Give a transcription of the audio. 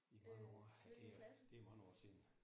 Øh hvilken klasse?